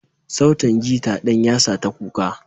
Sautin gita ɗin yasa ta kuka.